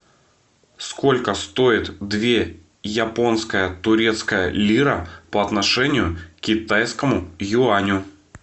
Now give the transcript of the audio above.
сколько стоит две японская турецкая лира по отношению к китайскому юаню